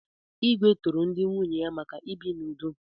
Igwe toro ndị nwunye ya maka ibi n'udo.